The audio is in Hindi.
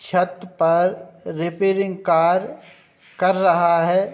छत पर रिपेयरिंग कार्य कर रहा है।